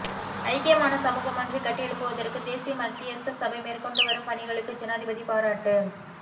ஐக்கியமான சமூகமொன்றை கட்டியெழுப்புவதற்கு தேசிய மத்தியஸ்த சபை மேற்கொண்டுவரும் பணிகளுக்கு ஜனாதிபதி பாராட்டு